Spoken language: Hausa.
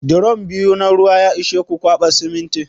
Drom biyu na ruwa ya ishe ku kwaɓa siminti?